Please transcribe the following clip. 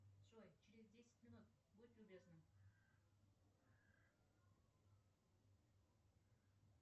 джой через десять минут будь любезна